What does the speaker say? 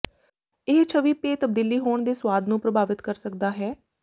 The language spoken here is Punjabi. ਇਹ ਛਵੀ ਪੇਅ ਤਬਦੀਲੀ ਹੋਣ ਦੇ ਸੁਆਦ ਨੂੰ ਪ੍ਰਭਾਵਿਤ ਕਰ ਸਕਦਾ ਹੈ